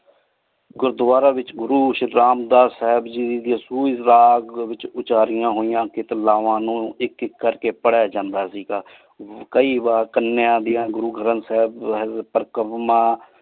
ਗੁਰਦਵਾਰਾ ਵਿਚ ਗੁਰੂ ਸ਼ਿਤ੍ਰਾਮ ਦਸ ਸਾਹਿਬ ਓਚਾਰਿਯਾਂ ਹੋਯਾਂ ਲਾਵਾਂ ਨੂ ਆਇਕ ਆਇਕ ਕਰ ਕੀ ਪਾਰ੍ਹ੍ਯਾ ਜਾਂਦਾ ਸੇ ਕਾਯੀ ਬਾਰ ਕਾਨਿਯਾਂ ਡਿਯਨ .